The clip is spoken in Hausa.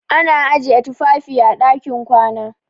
Ana ajiye tufafi a ɗakin kwana.